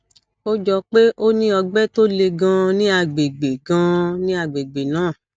ó jọ pé o ní ọgbẹ tó le ganan ní àgbègbè ganan ní àgbègbè náà